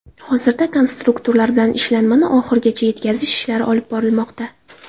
Hozirda konstruktorlar bilan ishlanmani oxirigacha yetkazish ishlari olib borilmoqda.